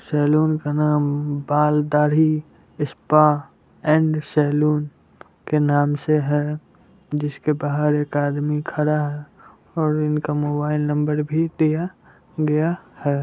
Salon का नाम बाल दाढ़ी सपा एंड सलोन के नाम से है जिसके बाहर एक आदमी खड़ा और इनका मोबाईल नंबर भी दिया है।